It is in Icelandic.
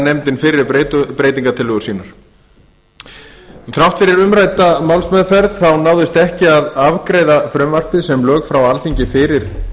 nefndin fyrri breytingartillögur sínar þrátt fyrir umrædda málsmeðferð náðist ekki að afgreiða frumvarpið sem lög frá alþingi fyrir